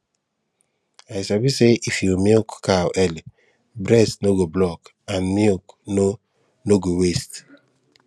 i sabi say if you milk cow early breast no go block and milk no no go waste